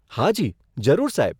હાજી, જરૂર સાહેબ.